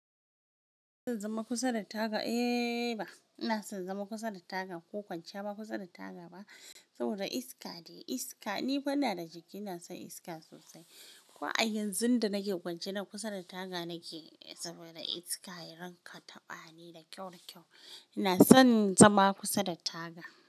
Ina son zama kusa da taga? Eh ba. Ina son zama kusa da taga ko kwanciya kusa da taga ba saboda iska dai iska. Ni fa ina da jiki, ina son iska sosai. Ko a yanzun da nake kwance, kusa da taga nake saboda iska ya rinƙa taɓani da kyau da kyau. Ina son zama kusa da taga.